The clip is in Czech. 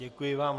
Děkuji vám.